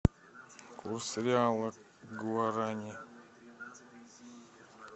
курс реала к гуарани